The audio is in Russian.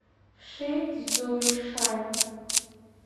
шицзуйшань